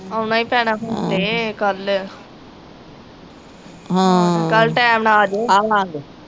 ਆਉਣਾ ਈ ਪੈਣਾ ਹੂੰ ਤੇ ਕਲ ਕਲ ਟੈਮ ਨਾਲ ਆਜਿਓ